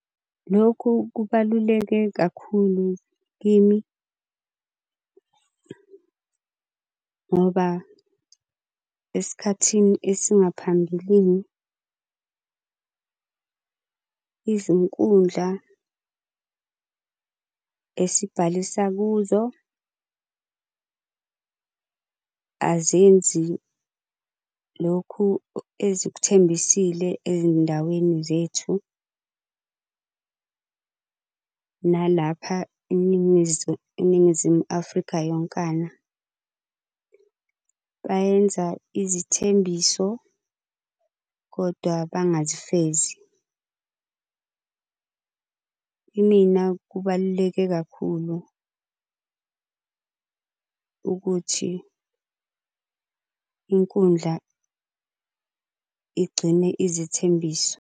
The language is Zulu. Lokhu kubaluleke kakhulu kimi, ngoba esikhathini esingaphambilini izinkundla esibhalisa kuzo azenzi lokhu ezikuthembisile ey'ndaweni zethu. Nalapha eNingizimu Afrika yonkana bayenza izithembiso kodwa bangazifezi. Kimina kubaluleke kakhulu ukuthi inkundla igcine izithembiso.